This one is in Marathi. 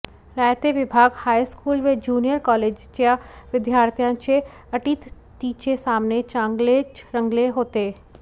रायते विभाग हायस्कूल व ज्युनिअर कॉलेजच्या विद्यार्थ्यांचे अटीतटीचे सामने चांगलेच रंगले होते